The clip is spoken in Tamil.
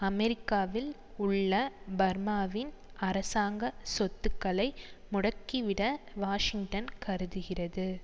அமெரிக்காவில் உள்ள பர்மாவின் அரசாங்க சொத்துக்களை முடக்கிவிட வாஷிங்டன் கருதுகிறது